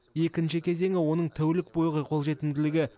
екінші кезеңі оның тәулік бойғы қолжетімділігі